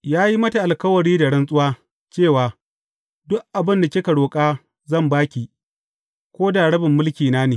Ya yi mata alkawari da rantsuwa cewa, Duk abin da kika roƙa, zan ba ki, ko da rabin mulkina ne.